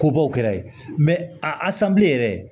Ko bɔ o kɛra yen a san bilen yɛrɛ